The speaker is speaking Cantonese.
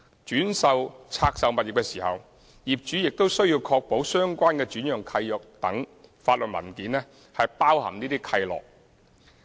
轉售拆售物業時，業主亦須確保相關的轉讓契約等法律文件包含這些契諾。